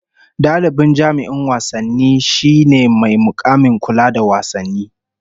Dalibi jami'in wasanni shine mai mukamin kula da wasanni